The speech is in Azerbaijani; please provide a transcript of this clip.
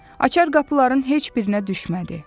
Açar qapıların heç birinə düşmədi.